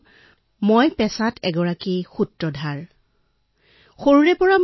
আৰু এতিয়া পেছাদাৰী ষ্টৰীটেলাৰ